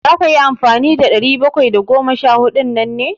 Za ka yi amfani da ɗari bakwai da goma sha huɗun nan ne?